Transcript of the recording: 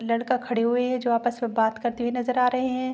लड़का खड़े हुए है जो आपस मे बात करते हुए नज़र आ रहे है।